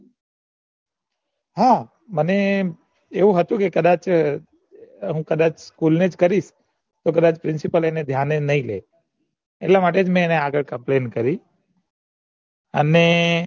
હા મને એ હતું કે કદાચ કદાચ કરીશ તો કદાચ principle એને ધ્યાને નઈ લે એટલા માટે જ મેં એને complaint કરી અને